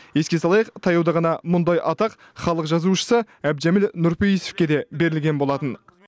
еске салайық таяуда ғана мұндай атақ халық жазушысы әбдіжәміл нұрпейісовке де берілген болатын